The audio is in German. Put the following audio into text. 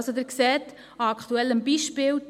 Sie sehen am aktuellen Beispiel: